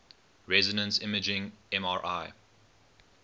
resonance imaging mri